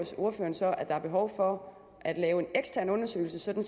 ordføreren så at der er behov for at lave en ekstern undersøgelse sådan